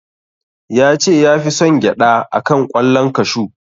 Ya ce ya fi son gyaɗa a kan ƙwallon kashu.